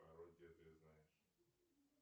пародия ты знаешь